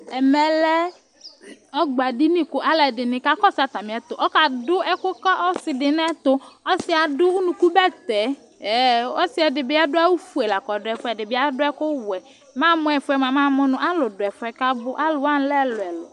Ɛmɛ lɛ ɔgbadinì k'aluɛdini ka kɔsu atamìɛtu, ɔka du ɛku ka ɔsi di n'ɛtu ,ɔsiɛ adu unuku bɛtɛ, ɛɛ̃, ɔsi ɛdi bi adu awù fue la k'ɔdu ɛfuɛ, ɛdi bi adu ɛku wɛ, m' amu ɛfuɛ mua, m'amu nu alu dù ɛfuɛ k'abu, aluwani lɛ ɛluɛlu